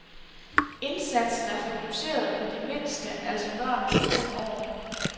Indsatsen er fokuseret på de mindste, altså børn under fem år.